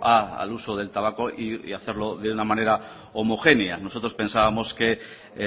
al uso del tabaco y hacerlo de una manera homogénea nosotros pensábamos que